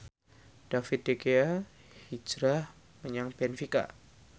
David De Gea hijrah menyang benfica